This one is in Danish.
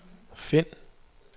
find